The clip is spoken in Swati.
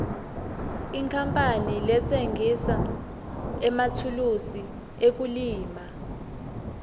inkapani letsengisa emathulusi ekulima